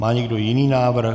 Má někdo jiný návrh?